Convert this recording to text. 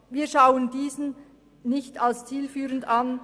Wir schauen diese nicht als zielführend an.